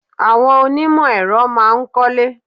Àwọn onímò èro má a nkólé